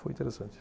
Foi interessante.